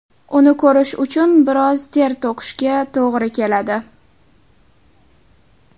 Uni ko‘rish uchun biroz ter to‘kishga to‘g‘ri keladi .